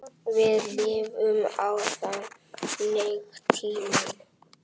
Við lifum á þannig tímum.